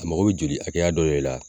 A mako bɛ joli hakɛya dɔ le la